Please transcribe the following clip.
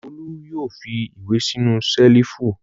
Olú yóò fi ìwé sínú ṣẹ́lífù!